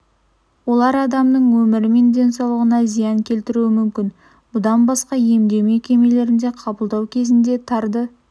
олар адамның өмірі мен денсаулығына зиян келтіруі мүмкін бұдан басқа емдеу мекемелерінде қабылдау кезінде тарды